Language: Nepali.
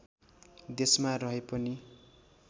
देशमा रहे पनि